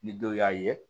Ni dɔ y'a ye